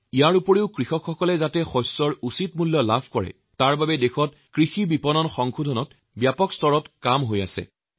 তদুপৰি কৃষকসকলক ফচলৰ উচিৎ দাম যাতে দিয়া হয় তাৰ বাবে দেশত এগ্ৰিকালটোৰে মাৰ্কেটিং Reformৰ ওপৰত আৰু অধিক বিস্তাৰিতভাৱে কাম কৰা হৈছে